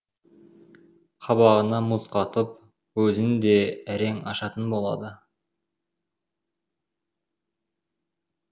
қабағына мұз қатып көзін де әрең ашатын болады